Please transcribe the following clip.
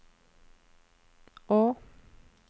å